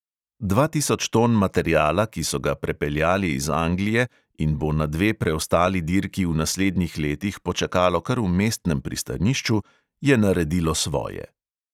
Dva tisoč ton materiala, ki so ga prepeljali iz anglije in bo na dve preostali dirki v naslednjih letih počakalo kar v mestnem pristanišču, je naredilo svoje.